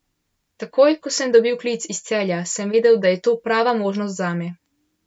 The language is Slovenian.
Takoj, ko sem dobil klic iz Celja, sem vedel, da je to prava možnost zame.